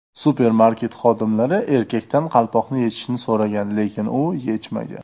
Supermarket xodimlari erkakdan qalpoqni yechishni so‘ragan, lekin u yechmagan.